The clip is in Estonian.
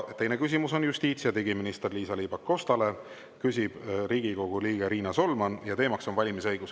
Teine küsimus on justiits‑ ja digiminister Liisa-Ly Pakostale, küsib Riigikogu liige Riina Solman ja teema on valimisõigus.